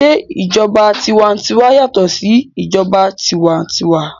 Se ìjọba tiwantiwa yàtọ̀ sí ìjọba tiwa-n-tiwa?